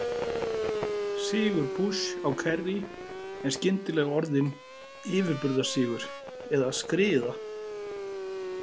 Sigur Bush á Kerry er skyndilega orðinn yfirburðasigur eða skriða .